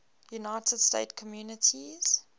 united states communities